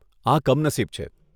આ કમનસીબ છે.